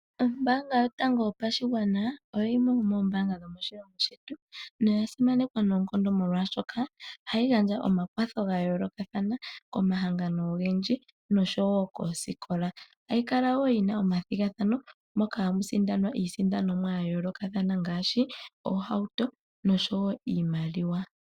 Ombaanga yotango yopashigwana oyimwe yomoombanga dhomoshilongo shetu, noyasimanekwa noonkondo molwaashoka ohayi gandja omakwatho gayoolokathana komahangano ogendji nosho wo koosikola. Ohayi kala woo yina omathigathano moka hamu sindanwa iisindanomwa yayoolokathana ngaashi omahauto nosho wo iimaliwa.